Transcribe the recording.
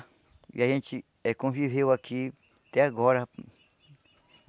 E a gente eh conviveu aqui até agora.